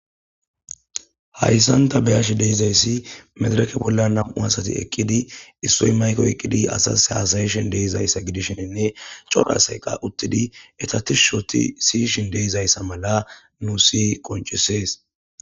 Hayisan ta be'ashe dizayis madireke bolla na'mu asati eqidi issoy mayike oyikidi asas hasayshe dizaysa gidishin coora asayi qa utidi i ehta tishi othi si'ishin dizayis mala nus qonicises